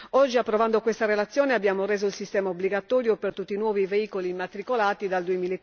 Oggi, approvando questa relazione, abbiamo reso il sistema obbligatorio per tutti i nuovi veicoli immatricolati dal